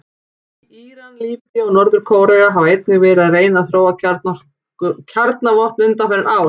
Íran, Líbía og Norður-Kórea hafa einnig verið að reyna að þróa kjarnavopn undanfarin ár.